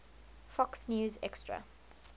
fox news extra